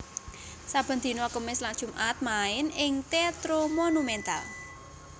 Saben dina Kemis lan Jumat main ing Teatro Monumental